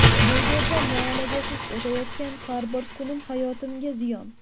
Bu yerda muolajasiz o‘tayotgan har bir kunim hayotimga ziyon.